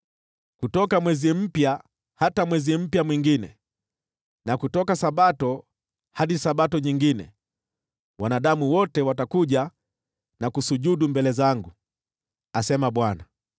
Kutoka Mwezi Mpya hata mwingine, na kutoka Sabato hadi nyingine, wanadamu wote watakuja na kusujudu mbele zangu,” asema Bwana .